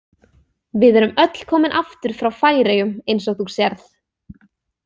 Við erum öll komin aftur frá Færeyjum eins og þú sérð.